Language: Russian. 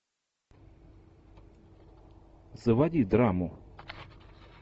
заводи драму